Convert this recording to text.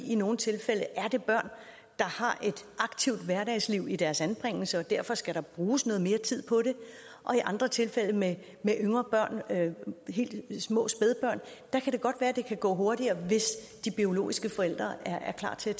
i nogle tilfælde er det børn der har et aktivt hverdagsliv i deres anbringelse og derfor skal der bruges noget mere tid på det i andre tilfælde med yngre børn helt små spædbørn kan det godt være at det kan gå hurtigere hvis de biologiske forældre er klar til at